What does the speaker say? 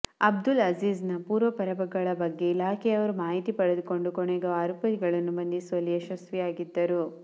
ಅಬ್ದುಲ್ ಅಝೀಜ್ ನ ಪೂರ್ವಪರಗಳ ಬಗ್ಗೆ ಇಲಾಖೆಯವರು ಮಾಹಿತಿ ಪಡೆದುಕೊಂಡು ಕೊನೆಗೂ ಆರೋಪಿಗಳನ್ನು ಬಂಧಿಸುವಲ್ಲಿ ಯಶಸ್ವಿಯಾಗಿದ್ದರು